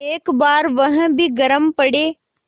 एक बार वह भी गरम पड़े